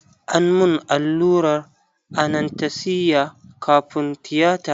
An mun allurar anastesiya kafun tiyata.